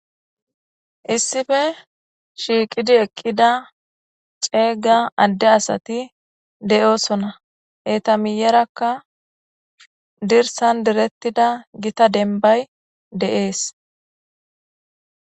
Issippe shiikidi eqqida ceega adde asatii de'osona. Eta miyarakka dirsan direttida githa dembay de'ees.